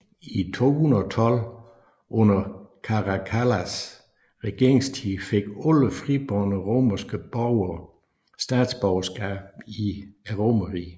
I 212 under Caracallas regeringstid fik alle fribårne romerske borger statsborgerskab i Romerriget